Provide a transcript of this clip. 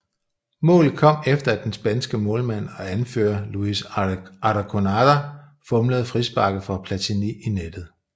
Målet kom efter at den spanske målmand og anfører Luis Arconada fumlede frisparket fra Platini i nettet